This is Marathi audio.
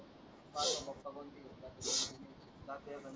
माझा पप्पा पण ती घेऊन जातो जाता येताना.